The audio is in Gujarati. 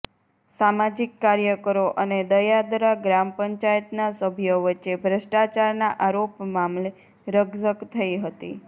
સામાજિક કાર્યકરો અને દયાદરા ગ્રામ પંચાયતના સભ્યો વચ્ચે ભ્રષ્ટાચારના આરોપ મામલે રકઝક થઈ હતી